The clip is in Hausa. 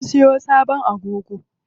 Mun siyo sabon agogo.